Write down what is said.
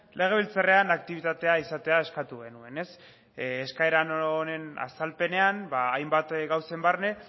legebiltzarrean aktibitatea izatea eskatu genuen eskaera honen azalpenean hainbat gauzen barne